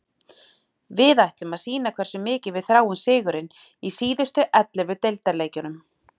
Við ætlum að sýna hversu mikið við þráum sigurinn í síðustu ellefu deildarleikjunum.